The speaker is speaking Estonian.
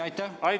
Aitäh!